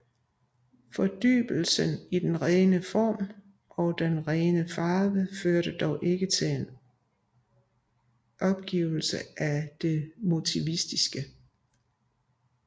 Fordybelsen i den rene form og den rene farve førte dog ikke til en opgivelse af det motiviske